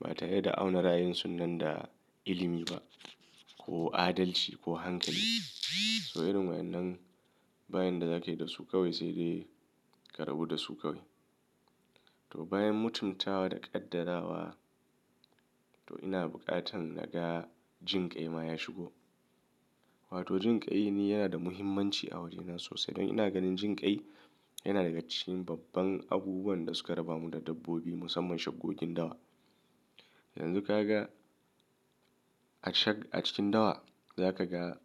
ba tare da auna ra'ayin sun nan da ilimi ba ko adalci ko hankali. To irin wayannan bayan da zaka yi da su kawai sai dai karɓu da su kawai. To bayan mutumtawa da ƙaddara wa, to ina buƙatan naga jinƙai ma ya shigo. Wato jinƙai ni yana da muhimmanci a wajena sosai. Dan ina ganin jinka yana daga cikin babban abubuwan da suka rabamu da dabbobi musamman shakkokin dawa. Yanzu ka ga a shag-- a cikin dawa za ka ga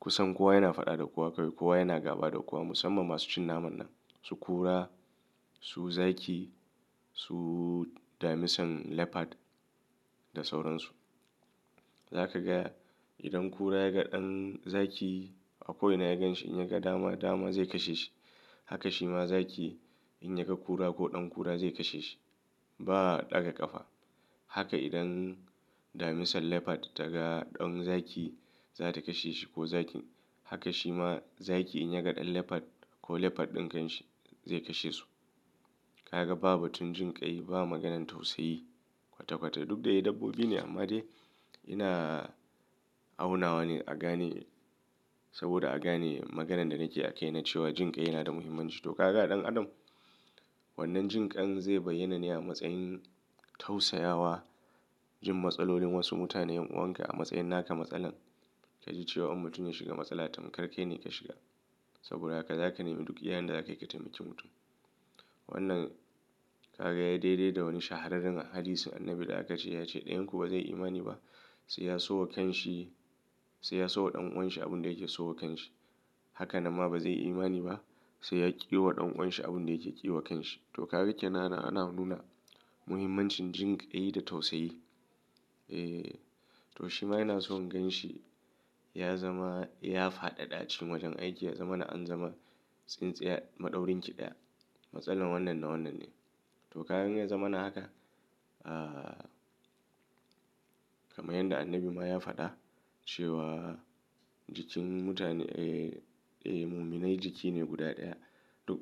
kusan kowa yana faɗa da kowa kawai, kowa yana gaba da kowa musamman masu cin naman nan. Su kura, su zaki, su damisan leopard da sauransu. Za ka ga idan kura ya ga ɗan zaki a ko ina ya ganshi in ya ga dama, dama zai kashe shi. Haka shi ma zaki in ya ga kura ko ɗan kura zai kashe shi. Ba ɗaga ƙafa. Haka idan damisan leopard ta ga ɗan zaki za ta kashe shi ko zakin. Haka shima zakin in yaga dan leopard ko leopard din kanshi zai kashe su kaga ba batun jin kai ba maganan tausai kwata kwata duk da dai dabbobi ne amma dai ina auna wane a gane saboda a gane maganan da nake akai na cewa jinƙai yana da muhimmanci. To ka ga ɗan adam wannan jinƙan zai bayyana ne a matsayin tausayawa, jin matsalolin wasu mutane, yan uwan ka a matsayin naka matsalan ka ji cewa mutum ya shiga matsala tam kar kai ne ka shiga. Saboda haka zaka nemi duk iyayan da zakai ka taimaki mutum. Wannan ka ga ya daidai da wani shahararren hadisin annabi da aka ce ya ce "ɗiyanku ba zai yi imani ba sai ya so wa kanshi, sai ya so wa ɗan uwan shi abin da yake so wa kanshi. Haka nan ma ba zai yi imani ba sai ya ƙi wa ɗan uwan shi abin da yake ƙi wa kanshi." To ka ga kenan anan ana nuna muhimmancin jinƙai da tausayi. Eh, to shi ma ina so in ganshi ya zama, ya fadada a cikin wajen aiki, ya zama na an zama tsintsiya, maɗaurin ƙidaya. Matsalan wannan na wannan ne. To ka gan ya zama na haka, ah, kamar yanda annabi ma ya faɗa cewa jikin mutane, eh, eh, mumina jiki ne guda ɗaya. Duk.